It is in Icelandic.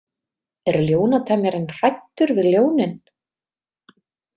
Er ljónatemjarinn hræddur við ljónin?